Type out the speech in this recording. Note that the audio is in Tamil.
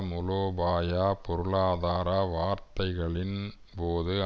மூலோபாய பொருளாதார பேச்சுவார்த்தைகளின் போது